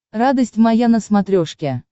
радость моя на смотрешке